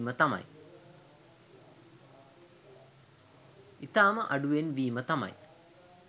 ඉතාම අඩුවෙන් වීම තමයි